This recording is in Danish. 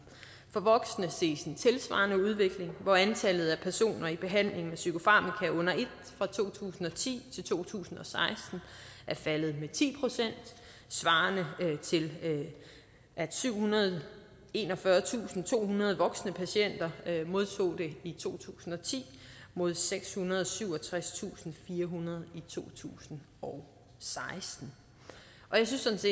for voksne ses en tilsvarende udvikling hvor antallet af personer i behandling med psykofarmaka under et fra to tusind og ti til to tusind og seksten er faldet med ti procent svarende til at syvhundrede og enogfyrretusindtohundrede voksne patienter modtog det i to tusind og ti mod sekshundrede og syvogtredstusindfirehundrede i to tusind og seksten jeg synes